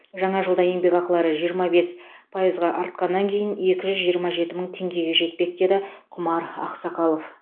жаңа жылда еңбекақылары жиырма бес пайызға артқаннан кейін екі жүз жиырма жеті мың теңгеге жетпек деді құмар ақсақалов